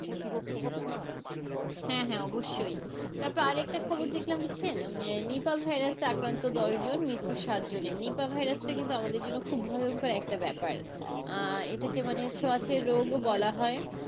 হ্যাঁ হ্যাঁ অবশ্যই, তারপরে আর একটা খবর দেখলাম হচ্ছেন নীপা ভাইরাস আক্রান্ত দশ জন মৃত্যু সাত জনের, নিপা ভাইরাসটা কিন্তু আমাদের জন্য খুব ভয়ঙ্কর একটা ব্যাপার, আহ এটাকে মানে ছোঁয়াচে রোগও বলে হয়,